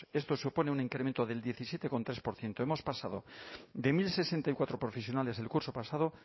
esto supone un incremento del diecisiete coma tres por ciento hemos pasado de mil sesenta y cuatro profesionales el curso pasado